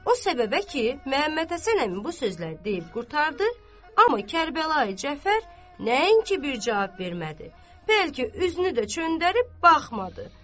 O səbəbə ki, Məmmədhəsən əmi bu sözləri deyib qurtardı, amma Kərbəlayı Cəfər nəinki bir cavab vermədi, bəlkə üzünü də çöndərib baxmadı.